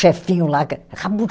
Chefinho lá que era